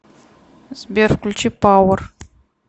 сбер включи пауэр